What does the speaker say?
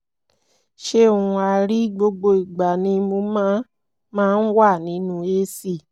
ṣé òun á rí i? gbogbo ìgbà ni mo máa máa ń wà nínú ac